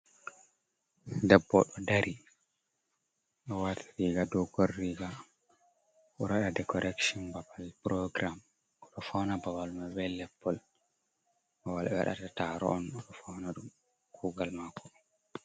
Debbo ɗo dari o wati riga dogon riga, oɗo waɗa de correction babal program, oɗo fauna babal mai be leppol, babal wal ɓe waɗata taro on, oɗo fauna ɗum kugal mako on.